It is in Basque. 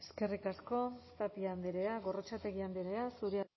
eskerrik asko tapia andrea gorrotxategi andrea zurea